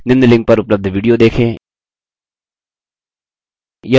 निम्न link पर उपलब्ध video देखें